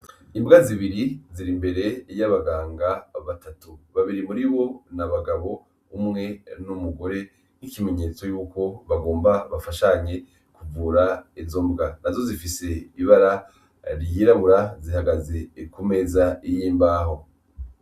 Imbwa zibiri ziri imbere y' abaganga batatu babiri muribo n' abagabo umwe n' umugore n' ikimenyetso yuko bagomba bafashanye kuvura izo mbwa nazo zifise ibara ryirabura zihagaze kumeza y' imbaho.